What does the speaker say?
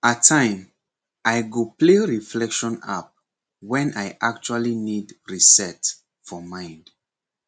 at time i go play reflection app when i actually need reset for mind